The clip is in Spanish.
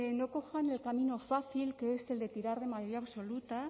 no cojan el camino fácil que es el de tirar de mayoría absoluta